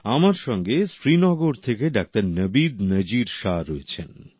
আমার সঙ্গে শ্রীনগর থেকে ডাক্তার নাবিদ নাজির শাহ্ রয়েছেন